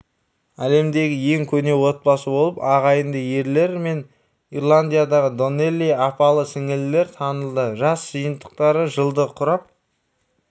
әлемдегі ең көне отбасы болып ағайынды ерлер мен ирландиядағы донелли апалы-сіңлілер танылды жас жиынтықтары жылды құрап